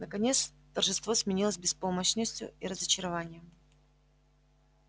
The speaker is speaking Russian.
наконец торжество сменилось беспомощностью и разочарованием